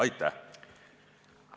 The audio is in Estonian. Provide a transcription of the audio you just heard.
Aitäh!